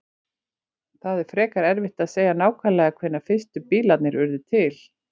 Það er frekar erfitt að segja nákvæmlega hvenær fyrstu bílarnir urðu til.